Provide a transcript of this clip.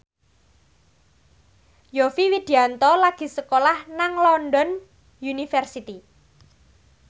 Yovie Widianto lagi sekolah nang London University